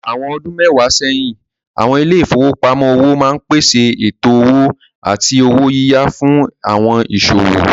Àwọn ọdún mẹ́wàá sẹ́yìn, àwọn ilé ìfowópamọ́ òwò máa ń pèsè ètò owó àti owó yíyá fún àwọn ìsòwò.